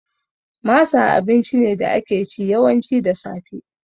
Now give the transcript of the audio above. Masa abinci ne da ake ci, yawanci da safe